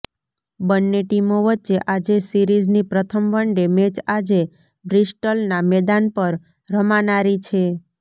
બંને ટીમો વચ્ચે આજે સિરીઝની પ્રથમ વનડે મેચ આજે બ્રિસ્ટલ ના મેદાન પર રમાનારી છે